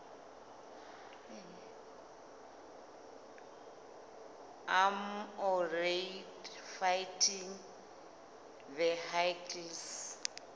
armoured fighting vehicles